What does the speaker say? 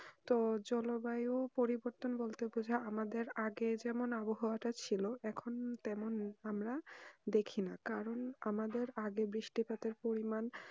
তো জলবায়ু পরিবর্বতন বলতে বোঝাই আমাদের আগে যেমন আবহাওয়া ছিল এখন তেমন আমার দেখিনা কারণ আমাদের আগের বৃষ্টি পাতের পরিমান